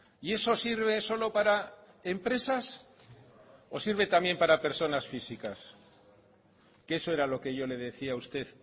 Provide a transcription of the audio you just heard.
y eso sirve solo para empresas o sirve también para personas físicas que eso era lo que yo le decía a usted